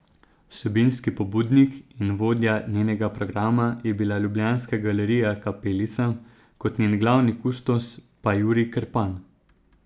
Vsebinski pobudnik in vodja njenega programa je bila ljubljanska Galerija Kapelica, kot njen glavni kustos pa Jurij Krpan.